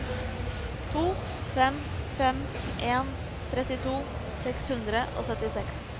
to fem fem en trettito seks hundre og syttiseks